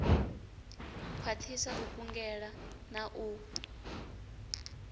khwathisa u kungela na u